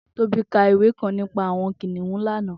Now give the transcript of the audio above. Tobi kà ìwé kãn nipà awọn kiniùn lànã